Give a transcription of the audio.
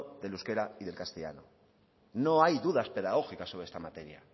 del euskera y el castellano no hay dudas pedagógicas sobre esta materia